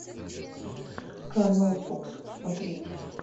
канал фокс смотреть